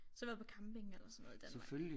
Så har vi været på camping eller sådan noget i Danmark